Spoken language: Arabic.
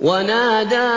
وَنَادَىٰ